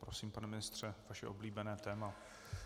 Prosím, pane ministře, vaše oblíbené téma.